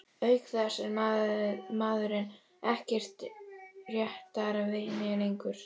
Auk þess er maðurinn ekkert réttarvitni lengur.